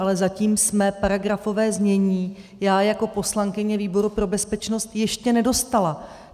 Ale zatím jsem paragrafové znění já jako poslankyně výboru pro bezpečnost ještě nedostala.